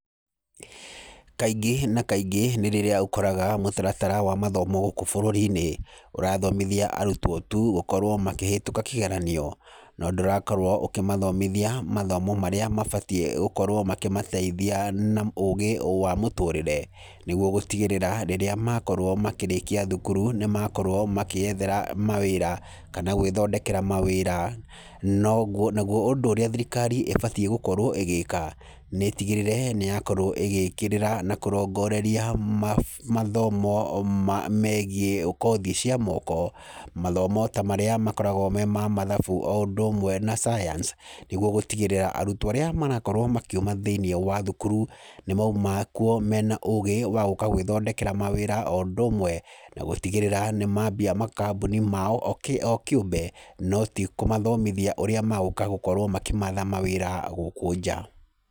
Kaingĩ na kaingĩ nĩ rĩrĩa ũkoraga mũtaratara wa mathomo gũkũ bũrũri-inĩ ũrathomithia arutwo tu gũkorwo makĩhĩtũka kĩgeranio, no ndũrakorwo ũkĩmathomithia mathomo marĩa mabatiĩ gũkorwo makĩmateithia na ũũgĩ wa mũtũrĩre. Nĩguo gũtigĩrĩra rĩrĩa makorwo makĩrĩkia thukuru nĩ makorwo makĩethera mawĩra kana gwĩthondekera mawĩra. Naguo ũndũ ũrĩa thirikari ibatiĩ gũkorwo ĩgĩka nĩ ĩtigĩrĩre nĩ yakorwo ĩgĩkĩrĩra na kũrongoreria mathomo megiĩ kothi cia moko. Mathomo ta marĩa makoragwo me ma mathabu o ũndũ ũmwe na science. Nĩguo gũtigĩrĩra atĩ arutwo arĩa marakorwo makiuma thĩiniĩ wa thukuru, nĩ moima kuo mena ũgĩ wa gũka gwĩthondekera mawĩra. O ũndũ ũmwe na gũtigĩrĩra nĩ maambia makambuni mao o kĩũmbe. No tikũmathomithia ũrĩa megũka kũmatha mawĩra gũkũ nja.